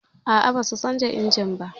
A'a, ba su canja injimin ba